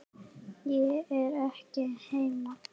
Ég er ekki heima